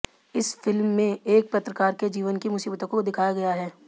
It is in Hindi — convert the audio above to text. इस फिल्म मेंेएक पत्रकार के जीवन की मुसीबतों को दिखाया गया है